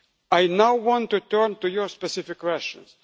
I now want to turn to your specific questions.